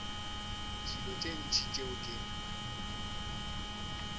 dilo tše ntši tšeo ke